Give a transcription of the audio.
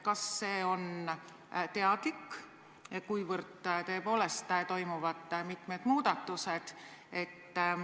Kas see on teadlik, kuivõrd tõepoolest toimuvad mitmed muudatused?